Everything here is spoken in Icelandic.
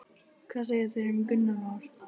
Hún er hætt að greiða fyrir sýningarsali.